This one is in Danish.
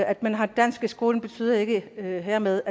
at man har dansk i skolen betyder ikke at vi hermed